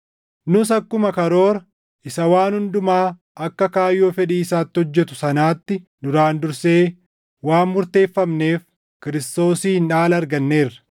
Nus akkuma karoora isa waan hundumaa akka kaayyoo fedhii isaatti hojjetu sanaatti duraan dursee waan murteeffamneef Kiristoosiin dhaala arganneerra;